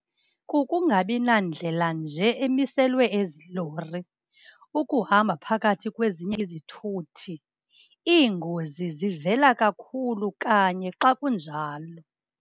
Kukungabi nandlela nje emiselwe ezi lori, ukuhamba phakathi kwezinye izithuthi. Iingozi zivela kakhulu kanye xa kunjalo.